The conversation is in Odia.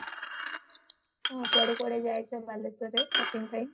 ଆଉ କୁଆଡେ କୁଆଡେ ଯାଇଛ ବାଲେଶ୍ବରରେ shopping ପାଇଁ